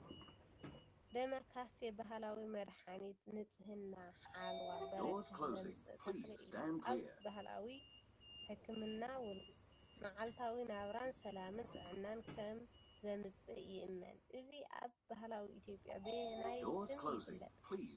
**ደማካሴ** ባህላዊ መድመድሓኒት ንጽህና፣ ሓለዋ፣ በረኸት ዘምጽእ ተኽሊ እዩ። ኣብ ባህላዊ ሕክምናን መዓልታዊ ናብራን ሰላምን ጥዕናን ከም ዘምጽእ ይእመን። እዚ ኣብ ባህሊ ኢትዮጵያ ብበየናይ ስም ይፍለጥ?